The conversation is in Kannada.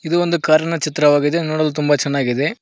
ಇದು ಒಂದು ಕಾರಿನ ಚಿತ್ರವಾಗಿದೆ ನೋಡಲು ತುಂಬ ಚೆನ್ನಾಗಿದೆ.